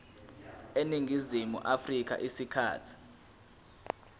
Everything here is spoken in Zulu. eningizimu afrika isikhathi